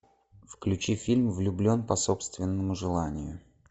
включи фильм влюблен по собственному желанию